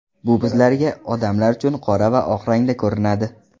Bu bizlarga, odamlar uchun qora va oq rangda ko‘rinadi.